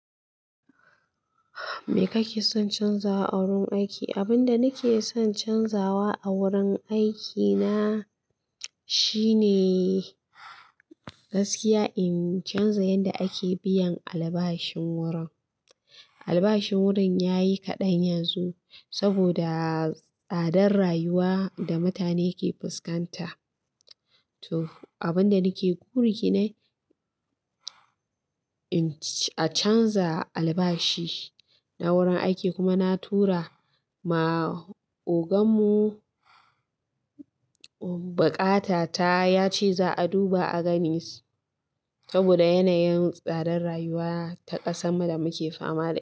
Mi kakeson canzawa a wurin aiki abinda nakeson canjawa a wurin aikina shine shine gaskiya in canza yadda ake biyan albashin wurin. Albashin wurin ya yi kaɗan yanzu saboda tsadar rayuwa da mutane ke fuskanta. To abin da nake ƙuri ne in a canza albashi na wurin aiki kuma na tura wa ogan mu buƙata ta ya ce za a duba a gani saboda yanayin tsadar rayuwa ta ƙasa da muke fama da ita.